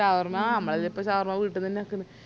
shawarma മ്മളെല്ലാം ഇപ്പൊ വീട്ടിന്നന്നെ ആക്കല്